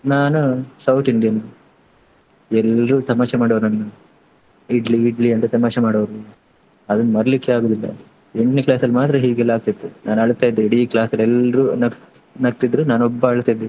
ನಾನು South Indian ಎಲ್ಲ್ರು ತಮಾಷೆ ಮಾಡೊವ್ರು ನನ್ನ idli, idli ಅಂತ ತಮಾಷೆ ಮಾಡೊವ್ರು ಅದನ್ನು ಮರಿಲಿಕ್ಕೆ ಆಗುದಿಲ್ಲ. ಎಂಟ್ನೇ class ಅಲ್ಲಿ ಮಾತ್ರ ಹೀಗೆಲ್ಲ ಆಗ್ತಿತ್ತು ನಾನು ಅಳತ್ತಾ ಇದ್ದೆ ಇಡೀ class ಅಲ್ಲಿ ಎಲ್ರೂ ನಗ್ಸ್~ ನಗ್ತಿದ್ರು ನಾನೊಬ್ಬ ಅಳ್ತಿದ್ದೆ.